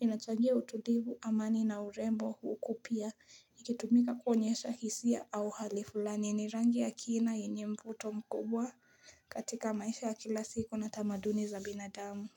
inachangia utulivu amani na urembo huku pia Ikitumika kuonyesha hisia au hali fulani yenye rangi ya kina yenye mvuto mkubwa katika maisha ya kila siku na tamaduni za binadamu.